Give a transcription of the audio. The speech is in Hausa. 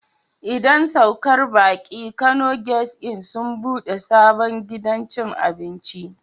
Idan saukar baki Kano guest Inn sun ɓude sabon gidan cin abinci.